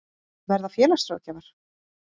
Verða félagsráðgjafar?